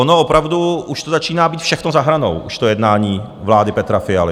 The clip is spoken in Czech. Ono opravdu už to začíná být všechno za hranou, to jednání vlády Petra Fialy.